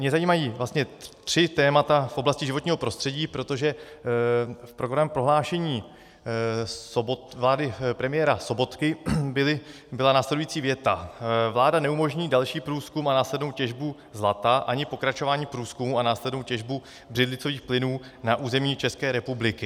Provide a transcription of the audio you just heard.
Mě zajímají vlastně tři témata v oblasti životního prostředí, protože v programovém prohlášení vlády premiéra Sobotky byla následující věta: Vláda neumožní další průzkum a následnou těžbu zlata ani pokračování průzkumu a následnou těžbu břidlicových plynů na území České republiky.